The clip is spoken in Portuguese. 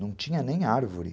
Não tinha nem árvore.